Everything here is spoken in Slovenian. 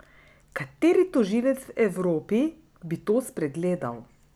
Kateri tožilec v Evropi bi to spregledal?